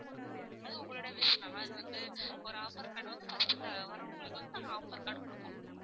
அது உங்களுடய wish ma'am அது வந்து ஒரு offer card வந்து first வர்றவங்களுக்கு வந்து நாங்க offer card குடுப்போம்.